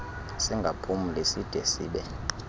singaphumli side sibe